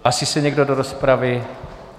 Hlásí se někdo do rozpravy?